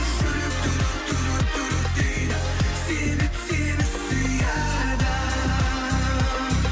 жүрек дейді себеп сені сүйеді